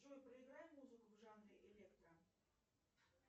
джой проиграй музыку в жанре электро